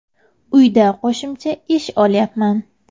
Uyda qo‘shimcha ish olyapman.